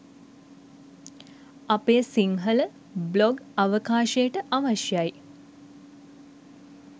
අපේ සිංහල බ්ලොග් අවකාශයට අවශය්‍යයි.